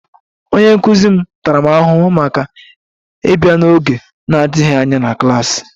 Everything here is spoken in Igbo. Onye nkụzi m tara m ahụhụ maka ịbịa n'oge na-adịghị anya na klas